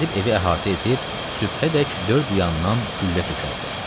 Gedib evi əhatə edib sübhədək dörd yanından güllə tökərdi.